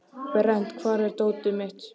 Berent, hvar er dótið mitt?